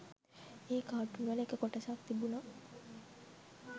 ඒ කාටුන්වල එක කොටසක් තිබුන